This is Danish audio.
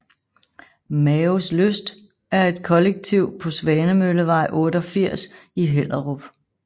Maos Lyst er et kollektiv på Svanemøllevej 88 i Hellerup